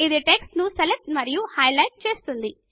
ఇది టెక్స్ట్ ను సెలెక్ట్ మరియు హైలైట్ చేస్తుంది